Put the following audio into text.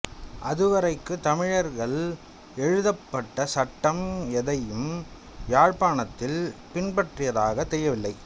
அதுவரைக்கு தமிழர்கள் எழுதப்பட்ட சட்டம் எதனையும் யாழ்ப்பாணத்தில் பின்பற்றியதாக தெரியவில்லை